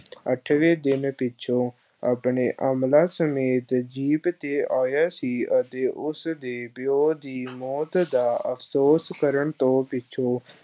ਅੱਠਵੇਂ ਦਿਨ ਪਿੱਛੋਂ ਆਪਣੇ ਅਮਲਾ ਸਮੇਤ ਜੀਪ ਤੇ ਆਇਆ ਸੀ ਅਤੇ ਉਸ ਦੇ ਪਿਉ ਦੀ ਮੌਤ ਦਾ ਅਫ਼ਸੋਸ ਕਰਨ ਤੋਂ ਪਿੱਛੋਂ